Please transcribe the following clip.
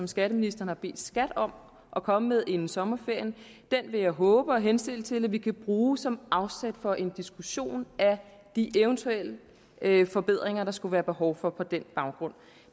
skatteministeren har bedt skat om at komme med inden sommerferien og den vil jeg håbe og henstille til at vi kan bruge som afsæt for en diskussion af de eventuelle forbedringer der skulle være behov for på den baggrund